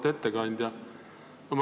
Auväärt ettekandja!